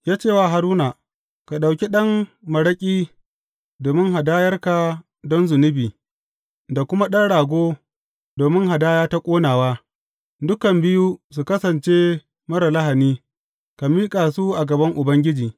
Ya ce wa Haruna, Ka ɗauki ɗan maraƙi domin hadayarka don zunubi da kuma ɗan rago domin hadaya ta ƙonawa, dukan biyu su kasance marar lahani, ka miƙa su a gaban Ubangiji.